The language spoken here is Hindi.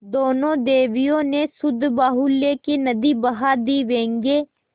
दोनों देवियों ने शब्दबाहुल्य की नदी बहा दी व्यंग्य